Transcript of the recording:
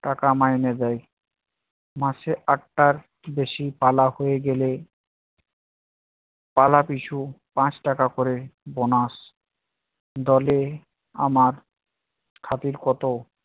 টাকা মাইনে দেয়। মাসে আটটার বেশি পালা হয়ে গেলে পালা পিছু পাঁচ টাকা করে bonus দলে আমার খাতির কত